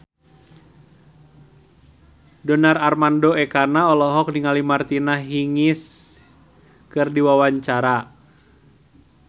Donar Armando Ekana olohok ningali Martina Hingis keur diwawancara